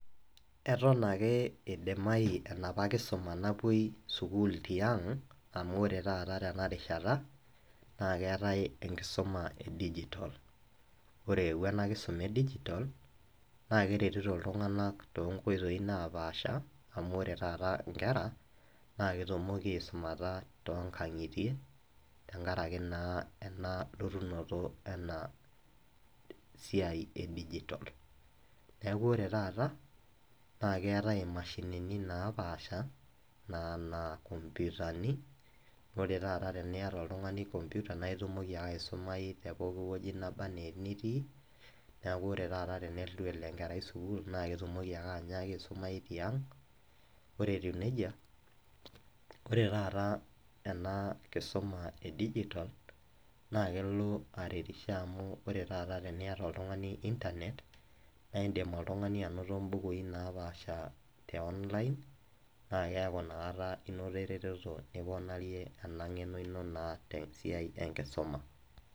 Eton ake eidimayu enoopa Kisuma napuoi sukuul tiang' amu ore taata tena rishata naa ekeatai enkisuma e digitol. Ore eewuo ena kisuma e digitol naa keretito iltung'ana too inkoitoi napaasha amu ore taata inkera naa ketumoki aisumata too inkang'itie enkara eke naa elotunoto ena siai e digitol. Neaku ore taata naa keatai imashinini napaasha anaa inkopyutani, ore taata teniata oltung'ani enkopyuta naa indim ake oltung'ani aisumai te pooki wueji nitii, neaku ore taata teneitu elo enkerai sukuul naa keidim aisumai tiang'. Ore etiu neija, ore taata ena kisuma e digitol naa kelo aretusho amu ore taata teniata oltung'ani internet naa indim oltung'ani ainoto imbukui napaasha te online naa keaku Ina kata inoto eretoto niponaarie eng'eno ino te siai enkisuma.